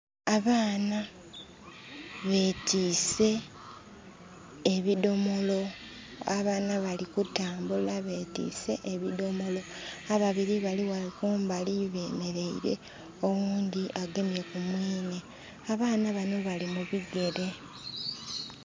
Abaana betiise ebidomolo. Abana bali kutambula betiise ebidomolo, ababiri bali ghale kumbali bemeleire oghundhi agemye ku mwinhe. Abaana banho bali mu bigere.